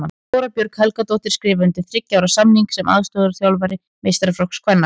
Þóra Björg Helgadóttir skrifaði undir þriggja ára samning sem aðstoðarþjálfari meistaraflokks kvenna.